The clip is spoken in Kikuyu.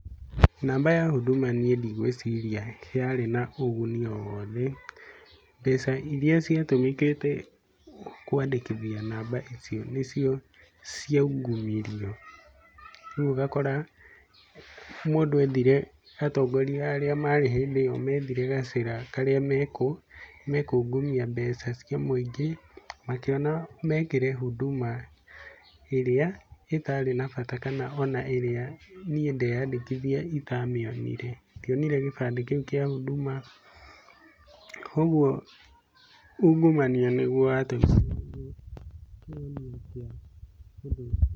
Namba ya hunduma niĩ ndigwĩciria yarĩ na ũguni o wothe. Mbeca iria ciatũmĩkĩte kũandĩkithia namba icio nĩ cio ciaungumirio. Ũguo ũgakora mũndũ endire, atongoria arĩa marĩ hĩndĩ ĩyo methire gacĩra karĩa mekungumia mbeca cia mũingĩ, makĩona mekĩre hunduma ĩrĩa ĩtarĩ na bata kana ĩrĩa niĩ ndeyandĩkithia itamĩonire. Ndionire gĩbandĩ kĩu kĩa hunduma. Koguo ungumania nĩ guo wa tũmĩrirwo kungumania mbeca icio.